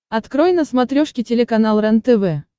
открой на смотрешке телеканал рентв